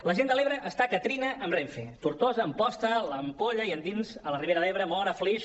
la gent de l’ebre està que trina amb renfe tortosa amposta l’ampolla i endins a la ribera d’ebre móra flix